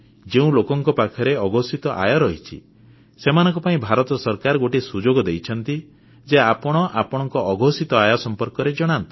ଯେଉଁ ଲୋକଙ୍କ ପାଖରେ ଅଘୋଷିତ ଆୟ ରହିଛି ସେମାନଙ୍କ ପାଇଁ ଭାରତ ସରକାର ଗୋଟିଏ ସୁଯୋଗ ଦେଇଛନ୍ତି ଯେ ଆପଣ ଆପଣଙ୍କ ଅଘୋଷିତ ଆୟ ସମ୍ପର୍କରେ ଜଣାନ୍ତୁ